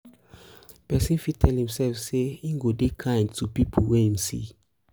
persin fit tell imself say im go dey kind to pipo wey im see